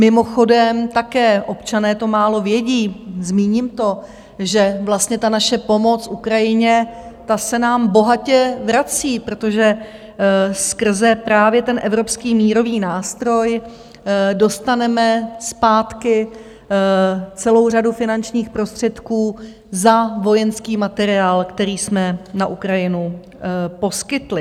Mimochodem, také občané to málo vědí, zmíním to, že vlastně ta naše pomoc Ukrajině, ta se nám bohatě vrací, protože skrze právě ten Evropský mírový nástroj dostaneme zpátky celou řadu finančních prostředků za vojenský materiál, který jsme na Ukrajinu poskytli.